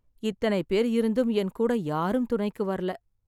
இத்தனை பேர் இருந்தும் என் கூட யாரும் துணைக்கு வரல.